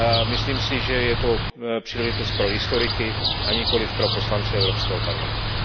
Myslím si, že je to příležitost pro historiky a nikoliv pro poslance Evropského parlamentu.